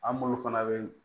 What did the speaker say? An m'olu fana be